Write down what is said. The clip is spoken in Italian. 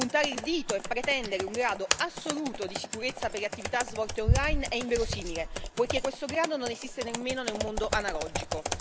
Puntare il dito e pretendere un grado assoluto di sicurezza per le attività svolte online è inverosimile, poiché questo grado non esiste nemmeno nel mondo analogico.